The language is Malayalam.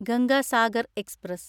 ഗംഗ സാഗർ എക്സ്പ്രസ്